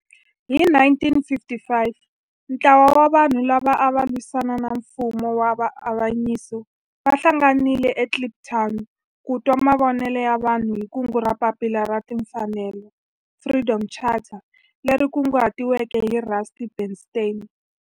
Hi 1955 ntlawa wa vanhu lava ava lwisana na nfumo wa avanyiso va hlanganile eKliptown ku twa mavonelo ya vanhu hi kungu ra Papila ra Tinfanelo, Freedom Charter leri kunguhatiweke hi Rusty Bernstein.